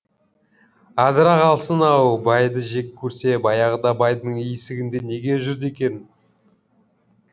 адыра қалсын ау байды жек көрсе баяғыда байдың есігінде неге жүрді екен